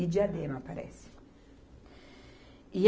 E Diadema, parece. E